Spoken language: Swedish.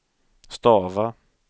stava